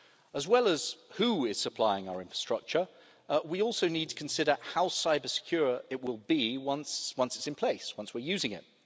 As well as who is supplying our infrastructure, we also need to consider how cyber secure it will be once it's in place, once we're using it.